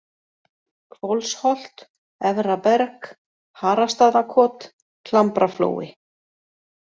Hvolsholt, Efra-Berg, Harastaðakot, Klambraflói